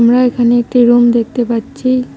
আমরা এখানে একটি রুম দেখতে পাচ্ছি।